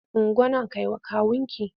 Ungo nan kai wa kawunki!